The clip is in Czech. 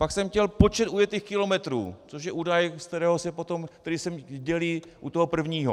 Pak jsem chtěl počet ujetých kilometrů, což je údaj, kterým se dělí u toho prvního.